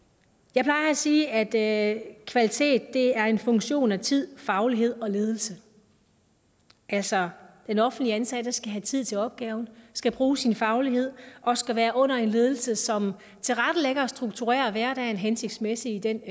jeg plejer at sige at at kvalitet er en funktion af tid faglighed og ledelse altså den offentligt ansatte skal have tid til opgaven skal bruge sin faglighed og skal være under en ledelse som tilrettelægger og strukturerer hverdagen hensigtsmæssigt i den